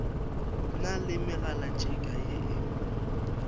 na le megalatšhika ye e